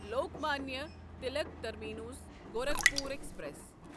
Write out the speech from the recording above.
Lokmanya Tilak Terminus Gorakhpur express